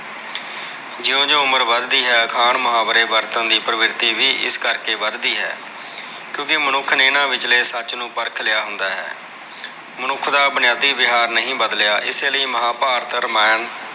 ਜਿਓ-ਜਿਓ ਉਮਰ ਵੱਧਦੀ ਹੈ। ਅਖਾਣ ਮੁਹਾਵਰੇ ਵਰਤਣ ਦੀ ਪ੍ਰਵਿਰਤੀ ਵੀ ਇਸ ਕਰਕੇ ਵੱਧਦੀ ਹੈ। ਕਿਉਂਕਿ ਮਨੁੱਖ ਨੇ ਇਹਨਾ ਵਿਚਲੇ ਸੱਚ ਨੂੰ ਪਰਖ ਲਿਆ ਹੁੰਦਾ ਹੈ। ਮਨੁੱਖ ਦਾ ਬੁਨਿਆਦੀ ਵਿਹਾਰ ਨਹੀਂ ਬਦਲਿਆ। ਇਸੇ ਲਈ ਮਹਾਭਾਰਤ, ਰਾਮਾਇਣ